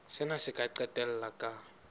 sena se ka qetella ka